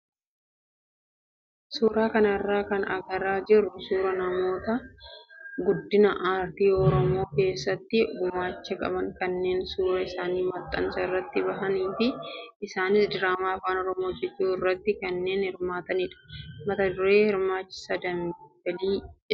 Suuraa kanarraa kan argaa jirru suuraa namoota guddina aartii oromoo keessatti gumaacha qaban kanneen suuraan isaanii maxxansa irratti bahee fi isaanis diraamaa afaan oromoo hojjachuu irratti kanneen hirmaatanidha. Mata dureen diraamichaas Dambalii jedha.